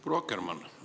Proua Akkermann!